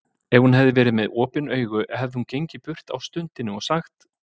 Ef hún hefði verið með opin augu hefði hún gengið burt á stundinni og sagt